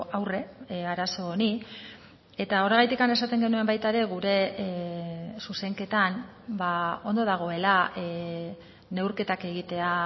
aurre arazo honi eta horregatik esaten genuen baita ere gure zuzenketan ondo dagoela neurketak egitea